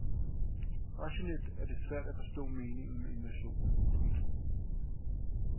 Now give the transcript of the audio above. Rationelt er det svært at forstå meningen med invasionen. punktum